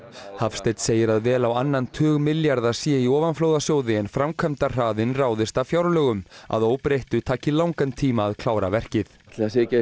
Hafsteinn segir að vel á annan tug milljarða sé í ofanflóðasjóði en framkvæmdahraðinn ráðist af fjárlögum að óbreyttu taki langan tíma að klára verkið ætli það sé ekki